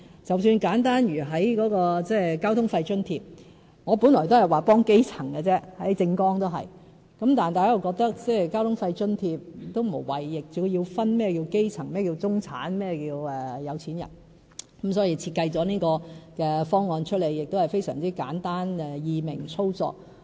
即使簡單如交通費津貼，我本來都只是說幫基層，在政綱也是，但大家又覺得交通費津貼無謂要分基層、中產、有錢人，所以設計了這套簡單易明、易於操作的方案。